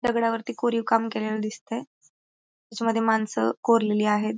दगडावरती कोरीव काम केलेल दिसतय त्याच्यामध्ये माणस कोरलेली आहेत.